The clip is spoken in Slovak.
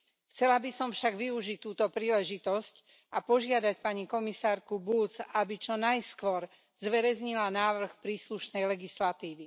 Chcela by som však využiť túto príležitosť a požiadať pani komisárku Bulc, aby čo najskôr zverejnila návrh príslušnej legislatívy.